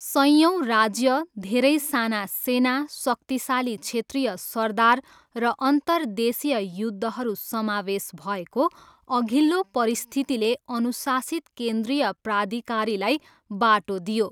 सयौँ राज्य, धेरै साना सेना, शक्तिशाली क्षेत्रीय सरदार र अन्तर्देशीय युद्धहरू समावेश भएको अघिल्लो परिस्थितिले अनुशासित केन्द्रीय प्राधिकारीलाई बाटो दियो।